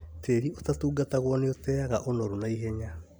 Tĩri ũtatungatagwo nĩũteaga ũnoru naihenya